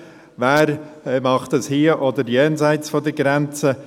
Wer tut dies hier oder auf der anderen Seite der Grenze?».